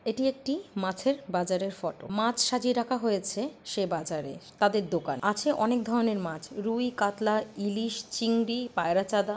এটি একটি মাছের বাজারের ফটো মাছ সাজিয়ে রাখা হয়েছে সে বাজারে তাদের দোকান আছে অনেক ধরনের মাছ রুই কাতলা ইলিশ চিংড়ি পায়রাচাদা।